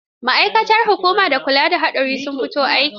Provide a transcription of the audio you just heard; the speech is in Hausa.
Ma'aikatan hukumar kula da hadurra sun fito aiki?